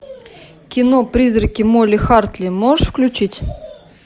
кино призраки молли хартли можешь включить